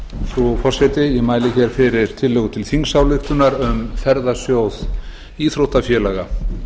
frú forseti ég mæli fyrir tillögu til þingsályktunar um ferðasjóð íþróttafélaga